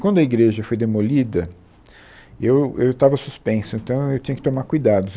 Quando a igreja foi demolida, eu eu estava suspenso, então eu tinha que tomar cuidado. Se eu